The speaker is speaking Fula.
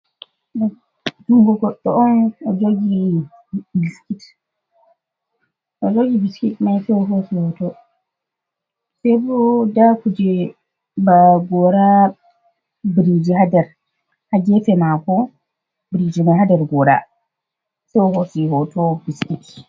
Jungu goɗɗo on odojogi biskit mai sebo da kuje ba gora biriji hadar hagefe mako briji mi hadar gora so hosi hoto biskit.